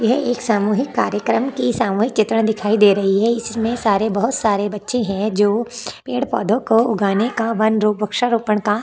यह सामूहिक कार्यक्रम की सामूहिक चित्र दिखाई दे रही है इसमें सारे बहुत सारे बच्चे है जो पेड़- पौधों को उगाने का वन रोप अक्षर रोपण का --